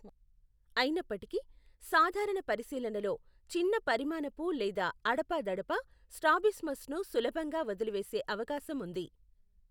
అయినప్పటికీ, సాధారణ పరిశీలనలో చిన్న పరిమాణపు లేదా అడపాదడపా స్ట్రాబిస్మస్ను సులభంగా వదిలివేసే అవకాశం ఉంది.